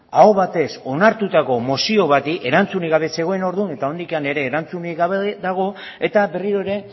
aho batez onartutako mozio bati erantzunik gabe zegoen orduan eta oraindik ere erantzunik gabe dago eta berriro ere